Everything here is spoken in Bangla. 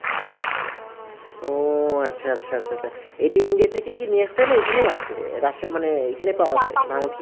ও আচ্ছা আচ্ছা আচ্ছা, এটি ইন্ডিয়া থেকে নিয়ে এসেছে তো এখানেই আছে, মানে এখানেই পাওয়া যায়